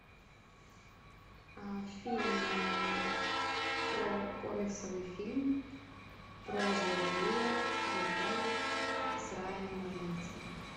фильм про комиксовый фильм про злодея героя с райаном рейнольдсом